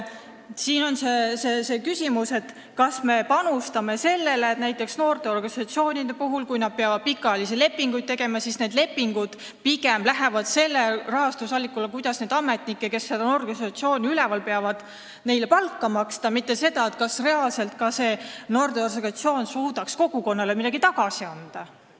Siin on küsimus, et näiteks kui noorteorganisatsioonid peavad pikaajalisi lepinguid tegema, siis see kõik on pigem mõeldud selle jaoks, kuidas neile ametnikele, kes seda noorteorganisatsiooni üleval peavad, palka maksta, mitte selle jaoks, kas ka see noorteorganisatsioon suudaks kogukonnale midagi reaalselt tagasi anda.